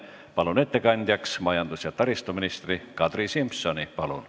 Palun ettekandjaks majandus- ja taristuminister Kadri Simsoni!